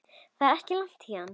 Það er ekki langt héðan.